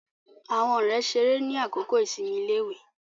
Àwọn ọ̀rẹ́ ṣeré ni àkókò ìsinmi iléèwé